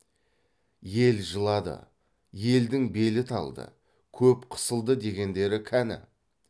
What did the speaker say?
ел жылады елдің белі талды көп қысылды дегендері кәні